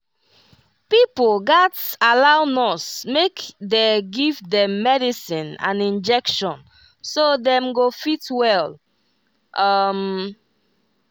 pipo gatz allow nurse make dey give dem medicine and injection so dem go fit well. um